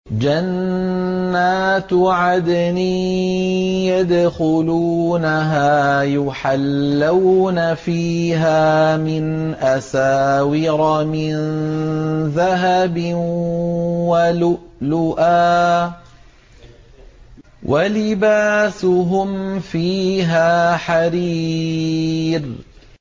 جَنَّاتُ عَدْنٍ يَدْخُلُونَهَا يُحَلَّوْنَ فِيهَا مِنْ أَسَاوِرَ مِن ذَهَبٍ وَلُؤْلُؤًا ۖ وَلِبَاسُهُمْ فِيهَا حَرِيرٌ